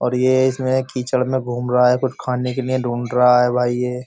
और ये इसमें कीचड़ में घूम रहा है कुछ खाने के लिए ढूंढ रहा है भाई ये --